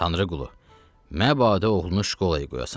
Tanrıqulu, məbada oğlunu şkolaya qoyasan.